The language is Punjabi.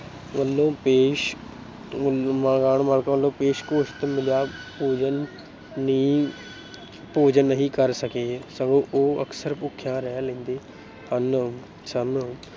ਵਲੋਂ ਪੇਸ਼ ਗੋਸ਼ਤ ਮਿਲਿਆ ਭੋਜਨ ਨਹੀਂ ਕਰ ਸਕੇ। ਸਗੋਂ ਉਹ ਅਕਸਰ ਭੁੱਖਿਆਂ ਰਹਿ ਲੈਂਦੇ ਸਨ।